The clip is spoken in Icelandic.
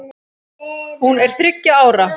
Hún er þriggja ára.